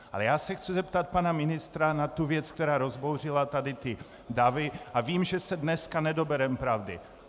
Ale já se chci zeptat pana ministra na tu věc, která rozbouřila tady ty davy, a vím, že se dneska nedobereme pravdy.